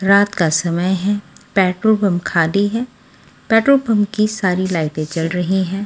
रात का समय है पेट्रोल पंप खाली है पेट्रोल पंप की सारी लाइटें जल रही है।